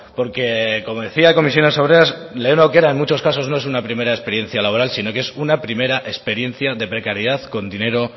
porque como decía comisiones obreras lehen aukera en muchos casos no es una primera experiencia laboral sino que es una primera experiencia de precariedad con dinero